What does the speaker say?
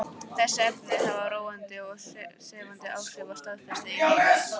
Þessi efni hafa róandi og sefandi áhrif á starfsemi heilans.